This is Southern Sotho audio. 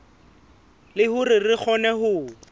le hore re kgone ho